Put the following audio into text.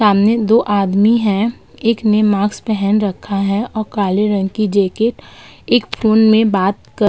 सामने दो आदमी हैं। एक ने मास्क पहन रखा है और काले रंग की जैकिट एक फोन में बात कर --